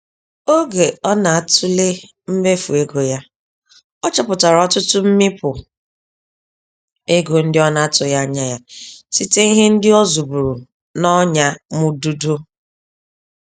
Ógè ọ natule mmefu ego ya, ọ chọpụtara ọtụtụ mmịpụ ego ndị ọ na-atụghị anya ya, site ihe ndị ọ zụburu n'ọnyamụdụdọ.